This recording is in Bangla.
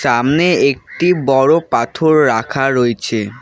সামনে একটি বড় পাথর রাখা রয়ছে।